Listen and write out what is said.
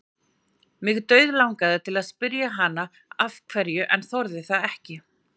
Mig dauðlangaði til að spyrja hana af hverju en þorði það ekki.